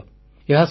ଏହା ଭାରତୀୟ